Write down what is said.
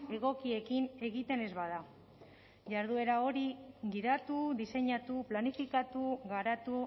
egokiekin egiten ez bada jarduera hori gidatu diseinatu planifikatu garatu